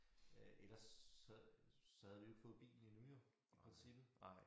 Øh ellers så så havde vi jo ikke fået bilen endnu jo i princippet